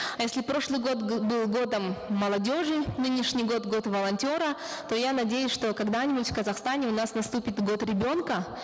если прошлый год был годом молодежи нынешний год год волонтера то я надеюсь что когда нибудь в казахстане у нас наступит год ребенка